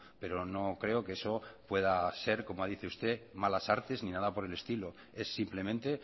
pero no creo que eso pueda ser como dice usted malas artes ni nada por el estilo es simplemente